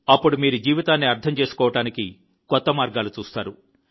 అప్పుడు మీరు జీవితాన్ని అర్థం చేసుకోవడానికి కొత్త మార్గాలు చూస్తారు